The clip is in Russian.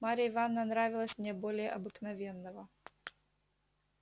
марья ивановна нравилась мне более обыкновенного